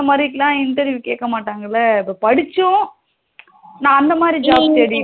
இந்த மாதிரிக்குலாம் interview கேக்கமாட்ங்கள, இப்போ படிச்சும் நா அந்த மாறி job தேடிட்டு